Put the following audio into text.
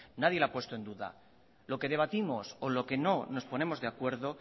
nadie lo ha puesto en duda lo que debatimos o en lo que no nos ponemos de acuerdo